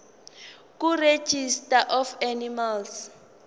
kuregistrar of animals